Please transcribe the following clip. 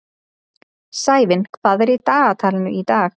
Sævin, hvað er í dagatalinu í dag?